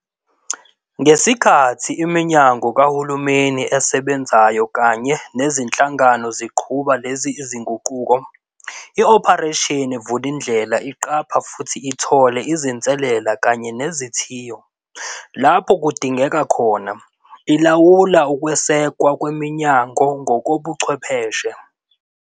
Ngesikhathi iminyango kahulumeni esebenzayo kanye nezinhlangano ziqhuba lezi zinguquko, iOperation Vulindlela iqapha futhi ithole izinselele kanye nezithiyo. Lapho kudingeka khona, ilawula ukwesekwa kweminyango ngokobuchwepheshe.